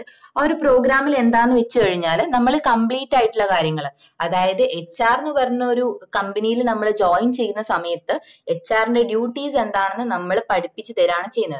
ആഹ് ഒരു program ല് എന്താന്ന് വെച് കഴിഞ്ഞാല് നമ്മള് compleate ആയിട്ടുള്ള കാര്യങ്ങള് അതായത് HR ന് പറഞ്ഞൊരു company ല് നമ്മള് join ചെയ്യുന്ന സമയത് HR ന്റെ duties എന്താന്ന് നമ്മള പഠിപ്പിച്ചു തരാണ് ചെയ്യുന്നത്